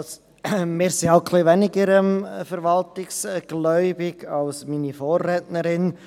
Wir sind halt etwas weniger verwaltungsgläubig als meine Vorrednerin.